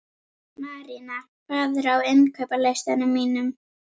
Marína, hvað er á innkaupalistanum mínum?